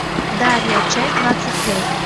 дарья часть двадцать пять